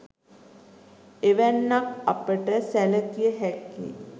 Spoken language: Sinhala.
එවැන්නක් අපට සැලකිය හැක්කේ